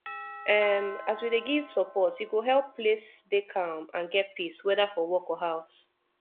um as we dey give support e go help place dey calm and get peace whether for work or house